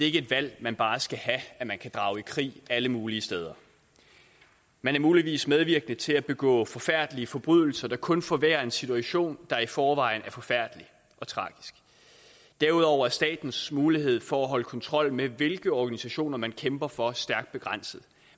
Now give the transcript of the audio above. ikke et valg man bare skal have at man kan drage i krig alle mulige steder man er muligvis medvirkende til at der begås forfærdelige forbrydelser der kun forværrer en situation der i forvejen er forfærdelig og tragisk derudover er statens mulighed for at holde kontrol med hvilke organisationer man kæmper for stærkt begrænset